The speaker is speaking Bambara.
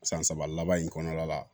San saba laban in kɔnɔna la